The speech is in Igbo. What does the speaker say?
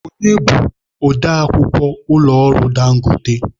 Onye bụ ode akwukwọ ụlọ ọrụ Dangote?